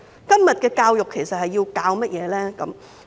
今天的教育其實要教授甚麼？